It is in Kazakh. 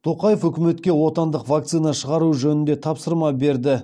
тоқаев үкіметке отандық вакцина шығару жөнінде тапсырма берді